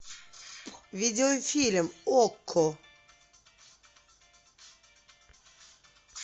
видеофильм окко